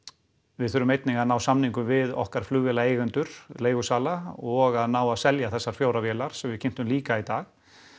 við þurfum einnig að ná samningum við okkar leigusala og að ná að selja þessar fjórar vélar sem við kynntum líka í dag